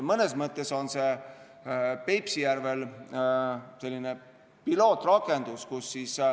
Mõnes mõttes on Peipsi järvel see selline pilootrakendus.